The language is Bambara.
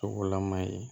Sugulaman ye